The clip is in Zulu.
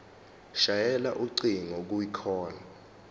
shayela ucingo kwicall